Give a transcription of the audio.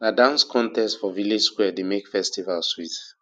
na dance contest for village square dey make festival sweet